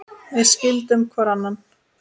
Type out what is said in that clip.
Við skildum hvor annan.